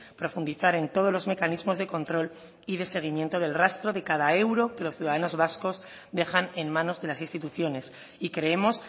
profundizar en todos los mecanismos de control y de seguimiento del rastro de cada euro que los ciudadanos vascos dejan en manos de las instituciones y creemos